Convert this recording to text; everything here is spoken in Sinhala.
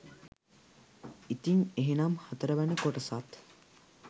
ඉතින් එහෙනම් හතරවන කොටසත්